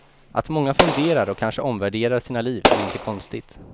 Att många funderar och kanske omvärderar sina liv är inte konstigt.